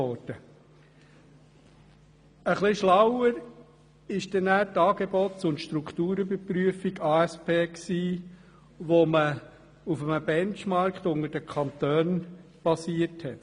Etwas schlauer war dann die Aufgaben- und Strukturüberprüfung ASP, die auf einem Benchmark zwischen den Kantonen basierte.